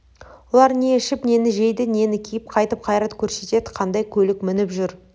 олар не ішіп нені жейді нені киіп қайтіп қайрат көрсетеді қандай көлік мініп жүр